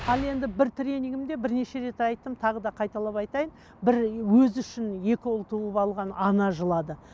ал енді бір тренингімде бірнеше рет айттым тағы да қайталап айтайын бір өзі үшін екі ұл туып алған ана жылады